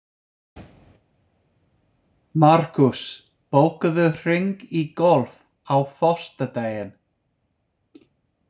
Markús, bókaðu hring í golf á föstudaginn.